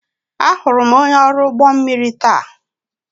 Ahụrụ m onye ọrụ ụgbọ mmiri taa.